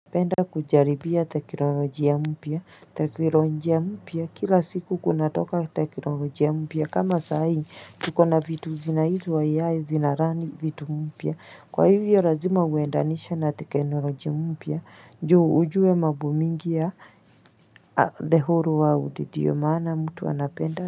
Penda kujaribia takironoji ya mpya, takironoji ya mpya, kila siku kuna toka takironoji ya mpya, kama sahi, tuko na vitu zinaitwa AI zinarani vitu mpya, kwa hivyo razima uendanisha na takironoji ya mpya, njuu ujue mambomingi ya thehoro world ndiyo maana mtu anapenda.